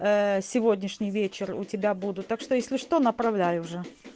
ээ сегодняшний вечер у тебя буду так что если что направляй уже